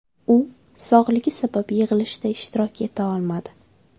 U sog‘lig‘i sabab yig‘ilishda ishtirok eta olmadi.